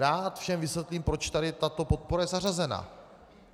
Rád všem vysvětlím, proč tady tato podpora je zařazena.